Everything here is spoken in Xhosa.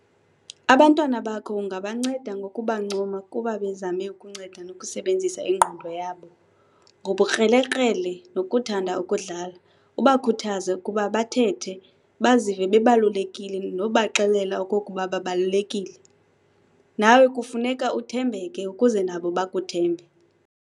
Abantwana bakho ungabanceda ngokubancoma kuba bezame ukunceda nokusebenzisa ingqondo yabo, ngobukrelekrele nokuthanda ukudlala, ubakhuthaze ukuba bathethe, bazive bebalulekile nokubaxelela okokuba babalulekile, nawe kufuneka uthembeke ukuze nabo bakuthembe.